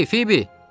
Ey, Fibi!